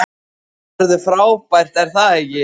Það verður frábært er það ekki?